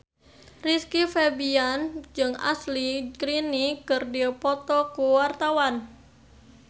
Rizky Febian jeung Ashley Greene keur dipoto ku wartawan